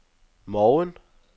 morgen